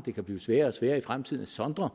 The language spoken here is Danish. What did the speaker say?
det kan blive sværere og sværere i fremtiden at sondre